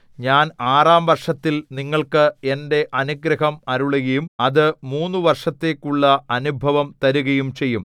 ഞാൻ ആറാം വർഷത്തിൽ നിങ്ങൾക്ക് എന്റെ അനുഗ്രഹം അരുളുകയും അത് മൂന്നു വർഷത്തേക്കുള്ള അനുഭവം തരുകയും ചെയ്യും